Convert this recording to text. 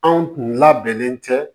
Anw labɛnnen tɛ